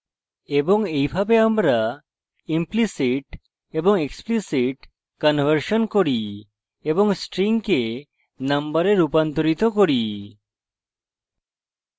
এবং এইভাবে আমরা implicit এবং explicit conversion করি এবং strings নম্বরে রূপান্তরিত করি